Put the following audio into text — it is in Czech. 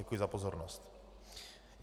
Děkuji za pozornost.